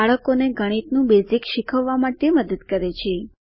બાળકોને ગણિતનું બેઝિક્સ શીખવવા માટે મદદ કરે છે